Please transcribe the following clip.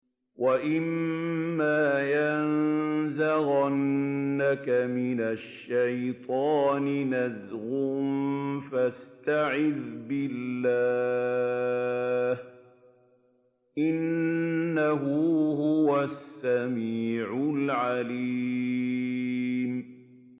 وَإِمَّا يَنزَغَنَّكَ مِنَ الشَّيْطَانِ نَزْغٌ فَاسْتَعِذْ بِاللَّهِ ۖ إِنَّهُ هُوَ السَّمِيعُ الْعَلِيمُ